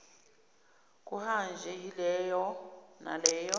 kuhanjwe yiloyo naloyo